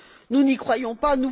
Nous n'y croyons pas.